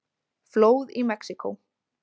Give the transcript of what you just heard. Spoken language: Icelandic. Flóð í Mexíkó